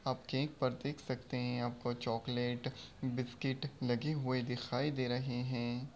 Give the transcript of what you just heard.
आप केक पर देख सकते हैं यहां पे चॉकलेट बिस्किट लगे हुए दिखाई दे रहे हैं।